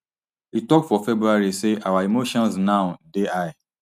e tok for february say our emotions now dey high